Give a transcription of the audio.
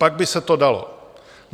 Pak by se to dalo.